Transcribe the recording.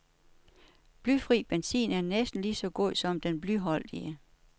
Blyfri benzin er næsten lige så god som den blyholdige.